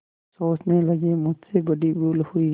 सोचने लगेमुझसे बड़ी भूल हुई